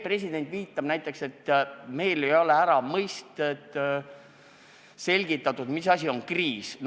President viitab näiteks, et ei ole ära selgitatud, mis asi on kriis.